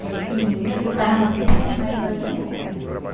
Aí pequenininha ele botava no tumtum nós ia nós ia embora. Eh